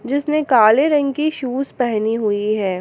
जिसने काले रंग की शूज पहनी हुई है।